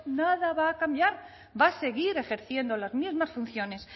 nada va a cambiar va a seguir ejerciendo las mismas funciones